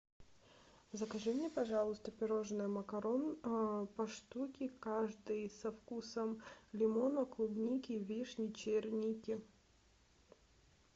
закажи мне пожалуйста пирожное макарон по штуке каждый со вкусом лимона клубники вишни черники